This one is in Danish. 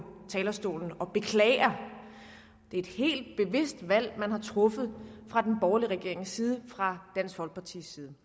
talerstolen og beklager det er et helt bevidst valg man har truffet fra den borgerlige regerings side og fra dansk folkepartis side